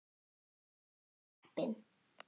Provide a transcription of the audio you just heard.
Og mjög heppin!